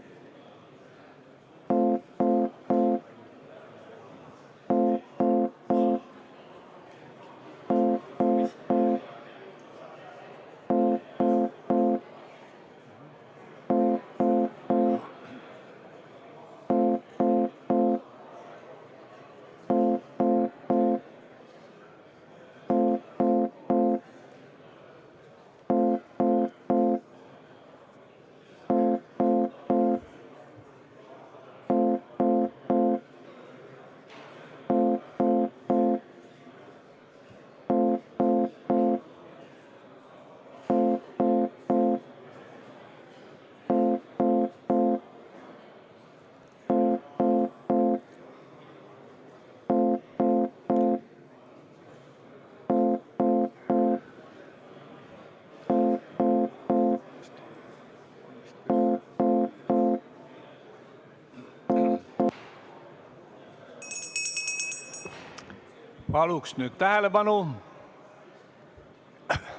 Palun nüüd tähelepanu!